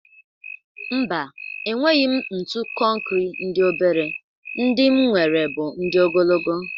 Mba, enweghi m ntu kọnkrị ndị obere: ndị m nwere bụ ndị ogologo.